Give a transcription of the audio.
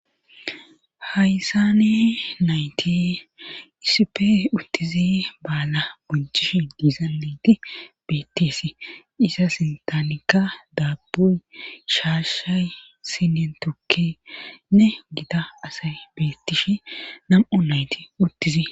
Haysane nayti isipe uttizi baala bunchishi diizaneti bettesi iza sintanika daabboy shaashay sinen tokkenne gida asay beettishi nam'o nayti uttizi.